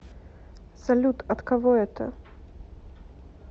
салют от кого это